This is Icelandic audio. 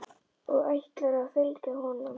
Og ætlarðu að fylgja honum?